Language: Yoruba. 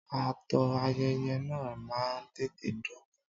Ààtò ayẹyẹ náà máa ń tètè dópin.